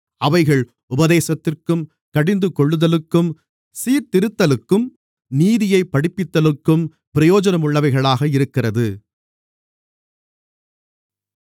அவைகள் உபதேசத்திற்கும் கடிந்துகொள்ளுதலுக்கும் சீர்திருத்தலுக்கும் நீதியைப் படிப்பிக்குதலுக்கும் பிரயோஜனமுள்ளவைகளாக இருக்கிறது